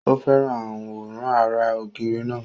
Ó fẹ́ràn àwòrán ara ògiri náà.